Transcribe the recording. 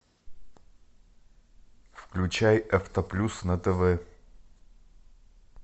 включай авто плюс на тв